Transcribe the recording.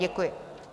Děkuji.